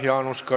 Küsimusi ei ole.